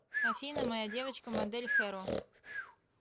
афина моя девочка модель хэро